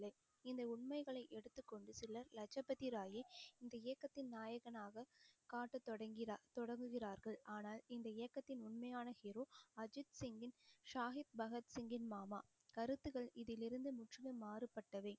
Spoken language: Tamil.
இந்த உண்மைகளை எடுத்துக்கொண்டு சிலர் லஜபதி ராயை இந்த இயக்கத்தின் நாயகனாக காட்டத் தொடங்கி~ தொடங்குகிறார்கள் ஆனால் இந்த இயக்கத்தின் உண்மையான hero அஜித் சிங்கின் பகத்சிங்கின் மாமா கருத்துக்கள் இதிலிருந்து முற்றிலும் மாறுபட்டவை